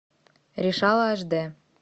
решала аш д